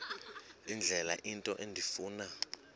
indlela into endifuna